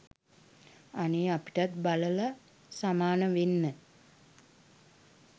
අනේ අපිටත් බලල සමාන වෙන්න